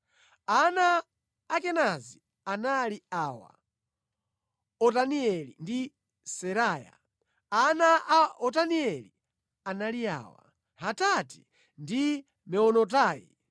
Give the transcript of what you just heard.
Ana a Kenazi anali awa: Otanieli ndi Seraya. Ana a Otanieli anali awa: Hatati ndi Meonotai.